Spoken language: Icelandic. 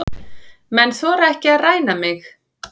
Menn þora ekki að ræna mig.